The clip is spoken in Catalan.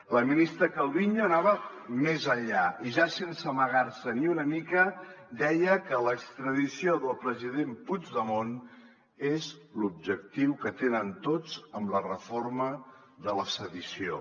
la ministra calviño anava més enllà i ja sense amagar se ni una mica deia que l’extradició del president puigdemont és l’objectiu que tenen tots amb la reforma de la sedició